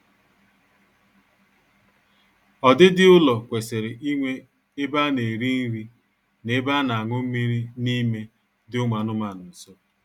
Ọdịdị ụlọ kwesịrị inwe ebe a na-eri nri na ebe a na-añụ mmiri n'ime dị ụmụ anụmaanụ nso